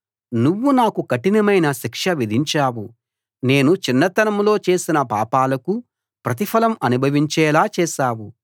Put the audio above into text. నువ్వు నాకు కఠినమైన శిక్ష విధించావు నేను చిన్నతనంలో చేసిన పాపాలకు ప్రతిఫలం అనుభవించేలా చేశావు